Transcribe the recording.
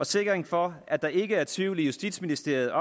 sikkerhed for at der ikke er tvivl i justitsministeriet